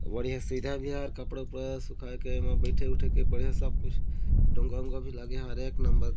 बढ़िया सुविधा भी है और कपड़ा-उपड़ा सुखाए के एमा बइठे उठे के बढ़िया सब कुछ डोंगा उंगा भी लगे है और एक नंबर --